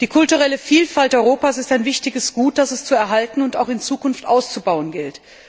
Die kulturelle Vielfalt Europas ist ein wichtiges Gut, das es zu erhalten und auch in Zukunft auszubauen gilt.